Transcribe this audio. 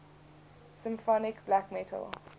symphonic black metal